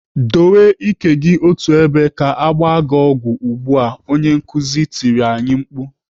"Dowe ike gị otú ebe ka agba gị ọgwụ ugbu a!" Onye nkuzi tirila anyị mkpu.